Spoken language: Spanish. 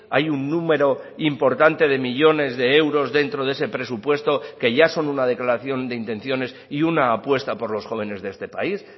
hay un número importante de millónes de euros dentro de ese presupuesto que ya son una declaración de intenciones y una apuesta por los jóvenes de este país